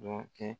Dɔ kɛ